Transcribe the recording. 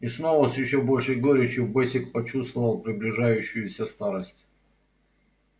и снова с ещё большей горечью бэсик почувствовал приближающуюся старость